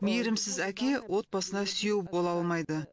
мейірімсіз әке отбасына сүйеу бола алмайды